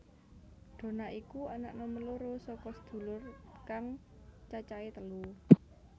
Donna iku anak nomer loro saka sedulur kang cacahe telu